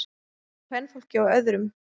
Kvenfólkið á öðrum.